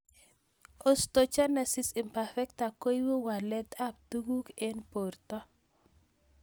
Osteogenesis imperfecta koipu walet ab tuguk eng' porto